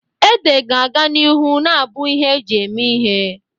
Ede ga-aga n'ihu na-abụ ihe eji eme ihe.